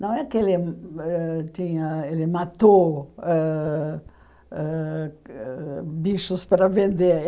Não é que ele ãh tinha ele matou ãh ãh bichos para vender.